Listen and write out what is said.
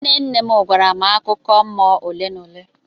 Nne nne m gwara m akụkọ mmụọ ole na ole.